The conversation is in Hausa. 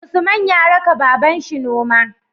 Usman ya raka babanshi noma